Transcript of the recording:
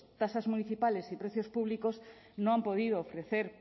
tasas municipales y precios públicos no han podido ofrecer